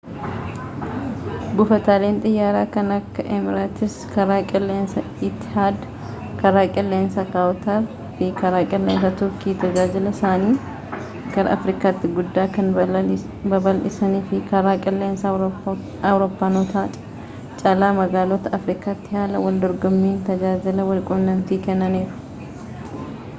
buufataleen xiyyaara kan akka eemireetsi karaa qilleensaa itahaad karaa qilleensaa kuwaatar fi karaa qilleensaa turkii tajaajila isaaanii gara afrikaatti guddaa kan babal'isanii fi karaa qilleensaa awurooppaanotaa caalaa magaalota aafriikaatti haala waldorgommiin tajaajila walquunnamtii kennaniiru